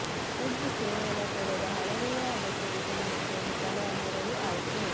ಒಂದು ಕೇವಲ ತೆರೆದ ಹಲಗೆಗಳ ಅಗತ್ಯವಿದೆ ಮತ್ತು ಬಲ ನೆರಳು ಆಯ್ಕೆ